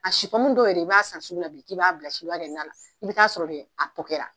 A si pɔmu dɔw yɛrɛ i b'a san sugula bi k'i b'a bila sini ki ba kɛ nana, i bɛ ta sɔrɔ dɛ a pɔkɛra.